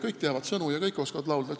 Kõik teavad sõnu ja kõik oskavad laulda.